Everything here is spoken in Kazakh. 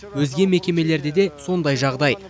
өзге мекемелерде де сондай жағдай